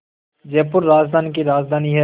जयपुर राजस्थान की राजधानी है